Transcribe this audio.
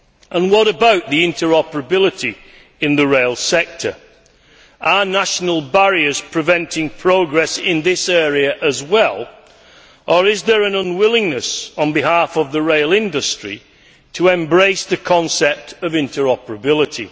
And what about interoperability in the rail sector? Are national barriers preventing progress in this area as well, or is there an unwillingness on the part of the rail industry to embrace the concept of interoperability?